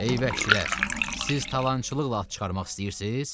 Ey vəhşilər, siz talançılıqla at çıxarmaq istəyirsiz?